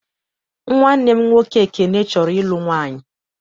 Nwanne m nwoke Ekene chọrọ ịlụ nwaanyị.